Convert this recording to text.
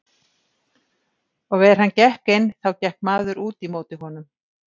Og er hann gekk inn þá gekk maður út í móti honum.